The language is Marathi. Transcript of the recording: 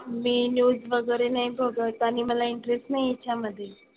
मी news वगैरे नाही बघत. आणि मला interest नाही आहे याच्यामधे.